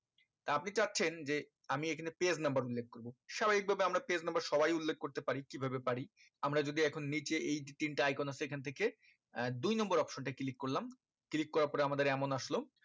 তা আপনি চাচ্ছেন যে আমি এই খানে page number উল্লেখ করবো স্বাভাবিক ভাবে আমরা page number সবাই উল্লেখ করতে পারি কি ভাবে পারি আমরা যদি এখন নিচে এই যে তিনটে icon আছে এই খান থেকে দুই number option টা click করলাম click করার পরে আমাদের এমন আসলো